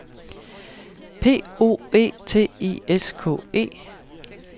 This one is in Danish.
P O E T I S K E